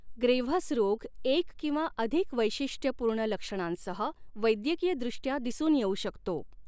Graves रोग एक किंवा अधिक वैशिष्ट्यपूर्ण लक्षणांसह वैद्यकीयदृष्ट्या दिसून येऊ शकतो.